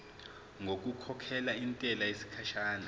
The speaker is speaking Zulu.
ngokukhokhela intela yesikhashana